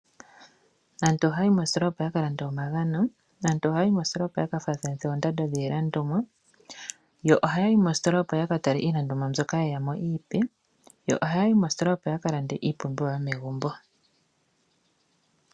Aantu ohaya yi moositola opo ya ka lande omagano, aantu ohaya yi moositola opo yaka faathanithe oondando dhiilandoma yo ohaya yi moositola opo ya katale iilandomwa mbyoka opo yeyamo iipe noha yayi moositola opo ya ka lande iipumbiwa yomegumbo.